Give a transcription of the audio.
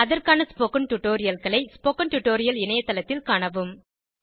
அதற்கான ஸ்போகன் டுடோரியல்களை spoken tutorial இணையத்தளத்தில் காணவும்